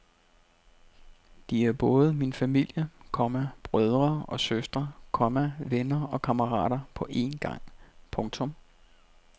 De er både min familie, komma brødre og søstre, komma venner og kammerater på én gang. punktum